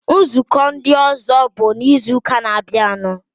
Nzukọ ndị ọzọ bụ n'izuụka na-abịanụ.